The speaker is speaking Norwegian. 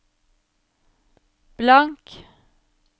blank